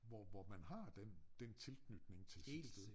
Hvor hvor man har den den tilknytning til sit sted